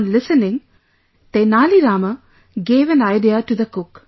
On listening, Tenali Rama gave an idea to the cook